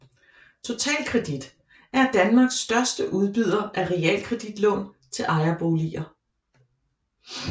Totalkredit er Danmarks største udbyder af realkreditlån til ejerboliger